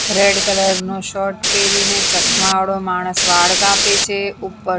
red colour નો shirt પેરીને ચશ્મા વાળો માણસ વાળ કાપે છે ઉપર --